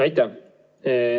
Aitäh!